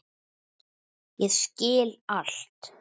Ég skil allt!